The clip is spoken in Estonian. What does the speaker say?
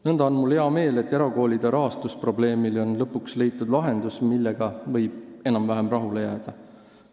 Nõnda on mul hea meel, et erakoolide rahastamise probleemile on lõpuks leitud lahendus, millega võib enam-vähem rahule jääda.